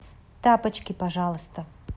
тапочки пожалуйста